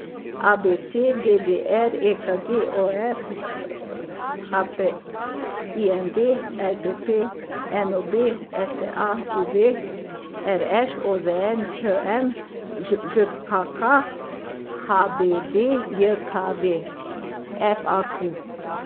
A B C; D D R; E K G; O F H P; I M V; L P P; N O B; S T A; U V; R Š; O Z N; Č M; Ž Ž K K; H B D J K V; F A Q.